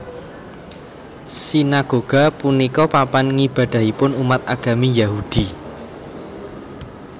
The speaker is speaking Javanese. Sinagoga punika papan ngibadahipun umat agami Yahudi